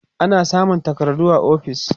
ana samun takardu a ofis